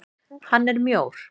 Hann er mjór.